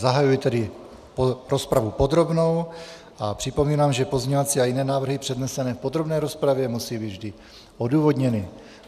Zahajuji tedy rozpravu podrobnou a připomínám, že pozměňovací a jiné návrhy přednesené v podrobné rozpravě musí být vždy odůvodněny.